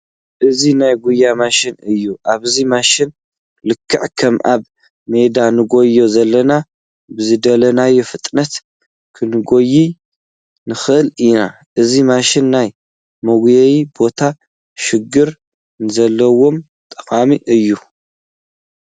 እዚ ናይ ጉያ ማሽን እዩ፡፡ ኣብዚ ማሽን ልክዕ ከም ኣብ ሜዳ ንጎይይ ዘለና ብዝደለናዮ ፍጥነት ክንጐይይ ንኽእል ኢና፡፡ እዚ ማሽን ናይ መጉየዪ ቦታ ሽግር ንዘለዎም ጠቓሚ እዩ፡፡